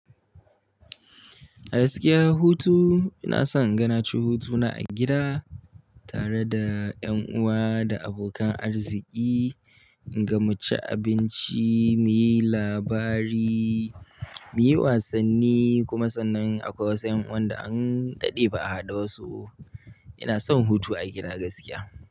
A gaskiya hutu inason inga naci hutuna a gida. Tare da yan uwa da abokan arziki, inga muci abinci, muyi labari, muyi wasanni kuma sannan akwai wasu yan uwanda an daɗe ba a haɗu dasu. Inason hutu a gida gaskiya.